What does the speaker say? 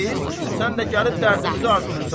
Sən də gəlib dərdimizi artırırsan.